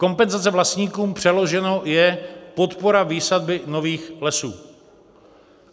Kompenzace vlastníkům přeloženo je podpora výsadby nových lesů.